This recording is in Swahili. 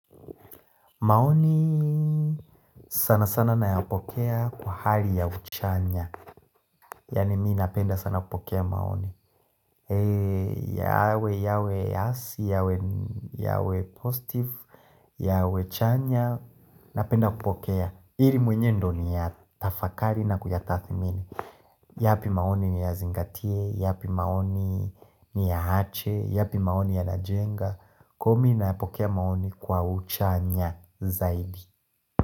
Maoni sana sana naeapokea kwa hali ya uchanya Yani mii napenda sana kupokea maoni yawe yawe hasi yawe yawe positive yawe chanya napenda kupokea Iri mwenye ndo ni ya tafakari na kujatathi mini yapi maoni ni ya zingatie, yapi maoni ni ya hache, yapi maoni ya najenga Kwa mii napokea maoni kwa uchanya zaidi.